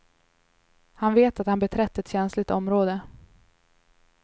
Han vet att han beträtt ett känsligt område.